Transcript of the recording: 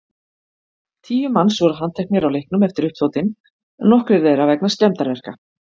Tíu manns voru handteknir á leiknum eftir uppþotin, nokkrir þeirra vegna skemmdarverka.